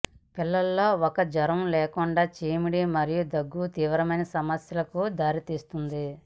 పిల్లల లో ఒక జ్వరం లేకుండా చీమిడి మరియు దగ్గు తీవ్రమైన సమస్యలకు దారితీస్తుంది